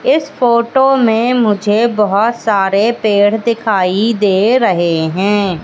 इस फोटो में मुझे बहुत सारे पेड़ दिखाई दे रहे हैं।